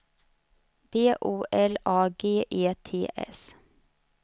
B O L A G E T S